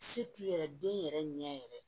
Se t'i yɛrɛ den yɛrɛ ɲɛ yɛrɛ ye